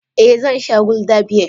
Eh zan sha gulder beer.